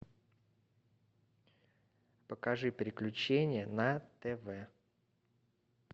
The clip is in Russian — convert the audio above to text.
покажи приключения на тв